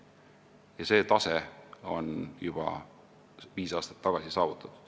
Ja see tase saavutati juba viis aastat tagasi.